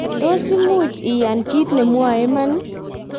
tos mui iyan kiit nemwoe iman?